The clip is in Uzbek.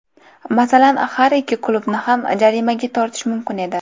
Masalan, har ikki klubni ham jarimaga tortish mumkin edi.